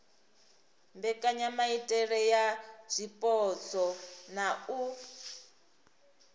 mbekanyamaitele ya zwipotso na u